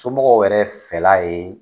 Somɔgɔw yɛrɛ fɛla ye.